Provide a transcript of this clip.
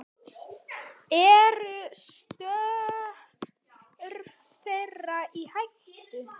Eru störf þeirra í hættu?